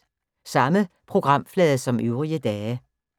Samme programflade som øvrige dage